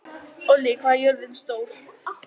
Ollý, hvað er jörðin stór?